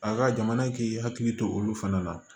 A ka jamana k'i hakili to olu fana la